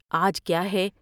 آج کیا ہے ۔